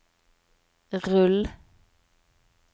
rull